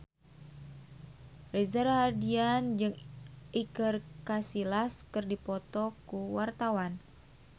Reza Rahardian jeung Iker Casillas keur dipoto ku wartawan